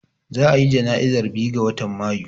Za a ya jana'izar biyu ga watan Mayu